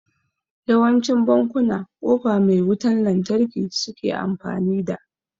yawancin bankuna kofa mai wutan lantarki suke amfani da